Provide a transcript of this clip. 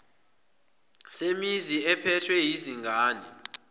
semizi ephethwe yizingane